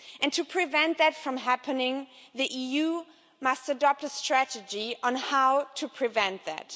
To prevent that from happening, the EU must adopt a strategy on how to prevent it.